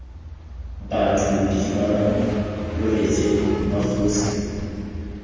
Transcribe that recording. batho didimalang lo reetse mmakgosi